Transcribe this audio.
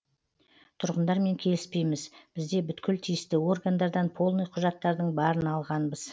тұрғындармен келіспейміз бізде бүткіл тиісті органдардан полный құжаттардың барын алғанбыз